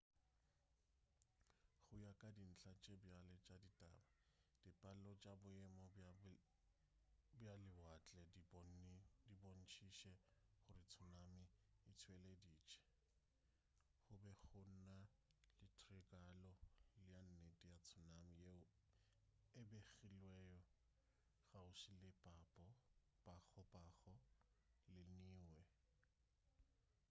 go ya ka dintla tša bjale tša ditaba dipalo tša boemo bja lewatle di bontšitše gore tsunami e tšweleditše go be go na le tiragalo ya nnete ya tsunami yeo e begilwego kgauswi le pago pago le niue